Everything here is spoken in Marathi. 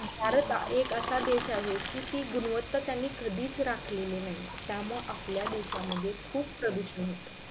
भारत एक असा देश आहे कि ती गुणवंता कि त्यांनी कधीच राखली नाही आहे त्यामुळे आपल्या देशा मध्ये खूप प्रदुषण होतंय